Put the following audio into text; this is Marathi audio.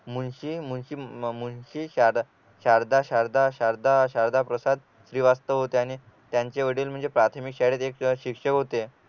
मुळशी मुळशी मुळशी शार शारदा शारदा शारदा शारदा प्रसाद श्रीवास्तव होते आणि त्यांचे वडील म्हणजे प्राथमिक शाळेत एक शिक्षक होते